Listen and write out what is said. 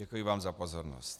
Děkuji vám za pozornost.